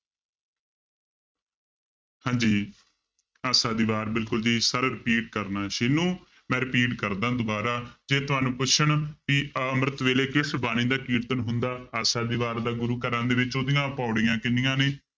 ਹਾਂਜੀ ਆਸਾ ਦੀ ਵਾਰ ਬਿਲਕੁਲ ਜੀ sir repeat ਕਰਨਾ ਸਿੰਨੂ ਮੈਂ repeat ਕਰਦਾਂ ਦੁਬਾਰਾ ਜੇ ਤੁਹਾਨੂੰ ਪੁੱਛਣ ਕਿ ਅੰਮ੍ਰਿਤ ਵੇਲੇ ਕਿਸ ਬਾਣੀ ਦਾ ਕੀਰਤਨ ਹੁੰਦਾ, ਆਸਾ ਦੀ ਵਾਰ ਦਾ ਗੁਰੂ ਘਰਾਂ ਦੇ ਵਿੱਚ ਉਹਦੀਆਂ ਪਾਉੜੀਆਂ ਕਿੰਨੀਆਂ ਨੇ?